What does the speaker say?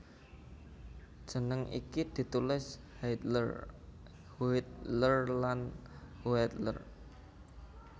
Jeneng iki ditulis Hiedler Huetler lan Huettler